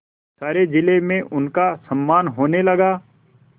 सारे जिले में उनका सम्मान होने लगा